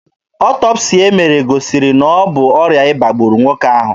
Ọtọpsii e mere gosiri na ọ bụ ọrịa ịba gburu nwoke ahụ.